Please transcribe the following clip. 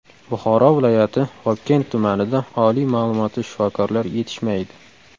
Buxoro viloyati Vobkent tumanida oliy ma’lumotli shifokorlar yetishmaydi.